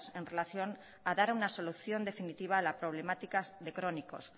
en relación a dar una solución definitiva a la problemática de crónicos